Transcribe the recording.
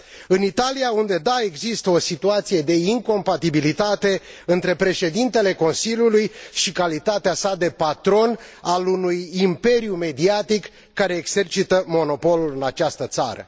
În Italia, unde da, există o situație de incompatibilitate între președintele Consiliului și calitatea sa de patron al unui imperiu mediatic care exercită monopolul în această țară.